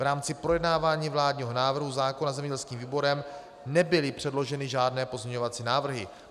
V rámci projednávání vládního návrhu zákona zemědělským výborem nebyly předloženy žádné pozměňovací návrhy.